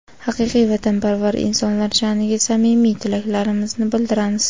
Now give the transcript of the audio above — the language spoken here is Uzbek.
haqiqiy vatanparvar insonlar shaʼniga samimiy tilaklarimizni bildiramiz.